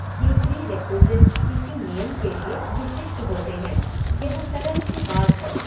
ये प्रीरेक्विज़िट्स किसी नियम के लिए विशिष्ट होते हैं, यह सरल सी बात है।